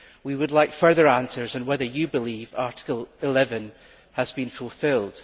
We would like further answers on whether you believe Article 11 has been fulfilled.